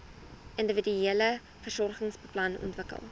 individuele versorgingsplan ontwikkel